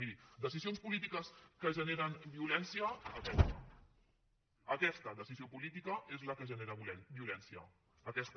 miri decisions polítiques que generen violència aquesta aquesta decisió política és la que genera violència aquesta